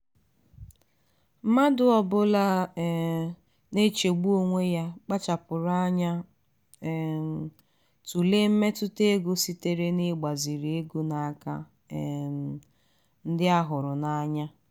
mmadụ ọbụla um na-echegbu onwe ya kpachapụrụ anya um tụlee mmetụta ego sitere n'igbaziri ego n'aka um ndị a hụrụ n'anya.